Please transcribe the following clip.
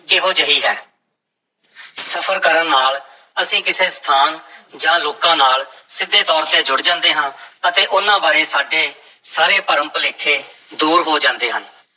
ਕਿਹੋ ਜਿਹੀ ਹੈ ਸਫ਼ਰ ਕਰਨ ਨਾਲ ਅਸੀਂ ਕਿਸੇ ਸਥਾਨ ਜਾਂ ਲੋਕਾਂ ਨਾਲ ਸਿੱਧੇ ਤੌਰ ਤੇ ਜੁੜ ਜਾਂਦੇ ਹਾਂ ਅਤੇ ਉਹਨਾਂ ਬਾਰੇ ਸਾਡੇ ਸਾਰੇ ਭਰਮ-ਭੁਲੇਖੇ ਦੂਰ ਹੋ ਜਾਂਦੇ ਹਨ।